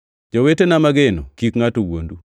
Jowetena mageno, kik ngʼato wuondu.